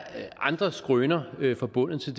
andre skrøner forbundet til